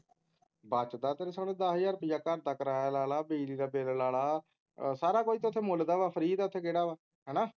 ਬੱਚਦਾ ਤੈਨੂੰ ਸੁਣ ਦੱਸ ਹਜ਼ਾਰ ਰੁਪਇਆ ਘਰ ਦਾ ਕਿਰਾਇਆ ਲਾ ਲੈ ਬਿਜਲੀ ਦਾ ਬਿੱਲ ਲਾ ਲੈ ਸਾਰਾ ਕੁਝ ਤਾ ਇਥੇ ਮੁੱਲ ਦਾ ਹੈ ਫ੍ਰੀ ਦਾ ਇਥੇ ਕਿਹੜਾ ਵਾ ਹੈਨਾ